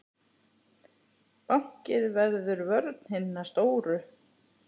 Báknið verður vörn hinna stóru.